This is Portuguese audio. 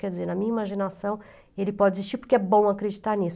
Quer dizer, na minha imaginação ele pode existir porque é bom acreditar nisso.